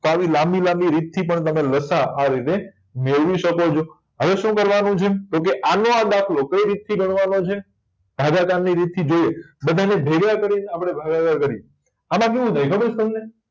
તો આવી લાંબી લાંબી રીત થી તમ બધા લસાઅ આ રીતે મેળવી શકોછો હવે શું કરવાનું છે તો કે આનો આ દાખલો કય રીત થી ગણવાનો છે ભાગાકારની રીત થી જોયે બધાને ભેગા કરી આપણે ભાગાકાર કર્યે આમાં કેવું થાય ખબર છે તમને